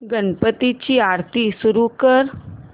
गणपती ची आरती सुरू कर